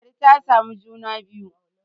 ladi ta samu juna biyu